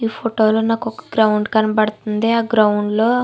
ఈ ఫోటో లో నాకు ఒక గ్రౌండ్ కనబడుతుంది ఆ గ్రౌండ్ లో --